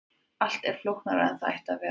allt er flóknara en það ætti að vera